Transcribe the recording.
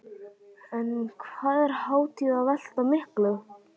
En hvað er hátíðin að velta miklu?